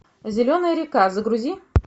зеленая река загрузи